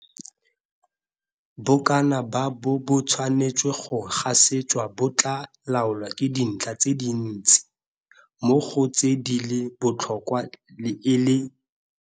Bokana ba N bo bo tshwanetsweng go gasetswa bo tlaa laolwa ke dintlha tse dintsi, mo go tse di leng botlhokwa e le.